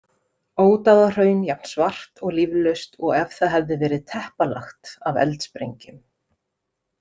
Ódáðahraun jafn svart og líflaust og ef það hefði verið teppalagt af eldsprengjum.